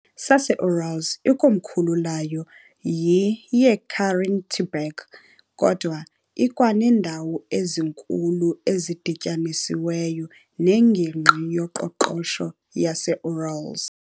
saseUrals, ikomkhulu layo yiYekaterinburg, kodwa ikwaneendawo ezinkulu ezidityanisiweyo neNgingqi yoQoqosho yaseUrals .